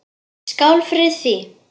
Skál fyrir því!